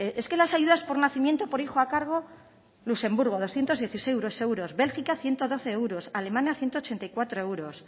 es que las ayudas por nacimiento o por hijo a cargo luxemburgo doscientos dieciséis euros bélgica ciento doce euros alemania ciento ochenta y cuatro euros